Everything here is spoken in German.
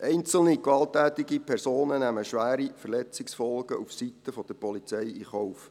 Einzelne gewalttätige Personen nehmen schwere Verletzungsfolgen aufseiten der Polizei in Kauf.